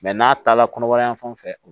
n'a taala kɔnɔbara yan fan fɛ